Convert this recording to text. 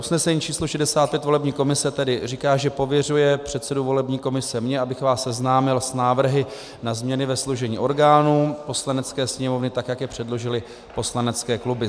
Usnesení číslo 65 volební komise tedy říká, že pověřuje předsedu volební komise - mě - abych vás seznámil s návrhy na změny ve složení orgánů Poslanecké sněmovny, tak jak je předložily poslanecké kluby: